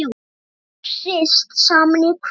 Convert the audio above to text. Allt hrist saman í krukku.